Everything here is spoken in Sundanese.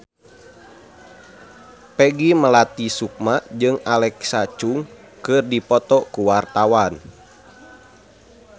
Peggy Melati Sukma jeung Alexa Chung keur dipoto ku wartawan